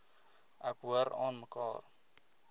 ek hoor aanmekaar